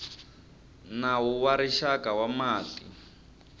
nawu wa rixaka wa mati